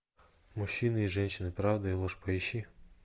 мужчины и женщины правда и ложь поищи